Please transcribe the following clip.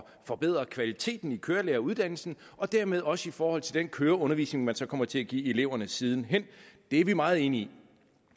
forbedre kvaliteten i kørelæreruddannelsen og dermed også i forhold til den køreundervisning man så kommer til at give eleverne siden hen det er vi meget enige i